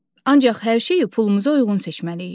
Ancaq hər şeyi pulumuza uyğun seçməliyik.